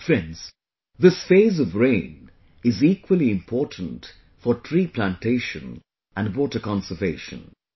Friends, this phase of rain is equally important for 'tree plantation' and 'water conservation'